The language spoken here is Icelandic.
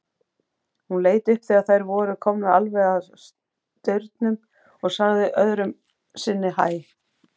Hún leit upp þegar þær voru komnar alveg að staurnum og sagði öðru sinni hæ.